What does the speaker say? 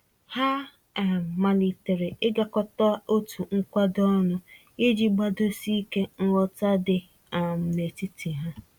Ha um malitere ịgakọta otu nkwado ọnụ, iji gbadosi ike nghọta dị um n'etiti ha.